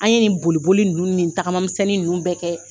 An ye nin boliboli nunnu nin tagamamisɛnnin nunnu bɛɛ kɛ.